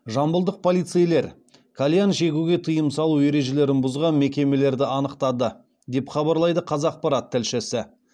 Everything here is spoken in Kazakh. жамбылдық полицейлер кальян шегуге тыйым салу ережелерін бұзған мекемелерді анықтады деп хабарлайды қазақпарат тілшісі